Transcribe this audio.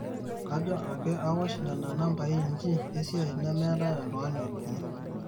kajo ake awosh nena nambai inji esiai nemetae oltungani odumu